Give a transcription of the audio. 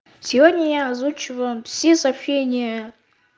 сегодня я озвучиваю все сообщения